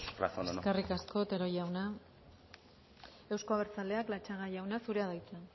razón o no eskerrik asko otero jauna euzko abertzaleak latxaga jauna zurea da hitza